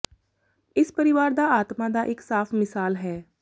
ਇਸ ਪਰਿਵਾਰ ਦਾ ਆਤਮਾ ਦਾ ਇੱਕ ਸਾਫ ਮਿਸਾਲ ਹੈ